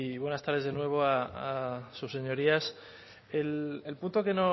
buenas tardes de nuevo a sus señorías el punto